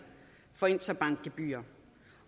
for interbankgebyrer